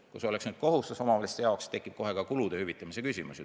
Kui see oleks omavalitsuste jaoks kohustus, tekiks kohe ka kulude hüvitamise küsimus.